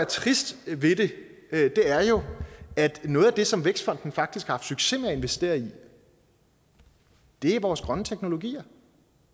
triste ved det er jo at noget af det som vækstfonden faktisk har haft succes med at investere i er vores grønne teknologier